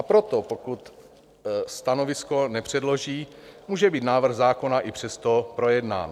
A proto, pokud stanovisko nepředloží, může být návrh zákona i přesto projednán.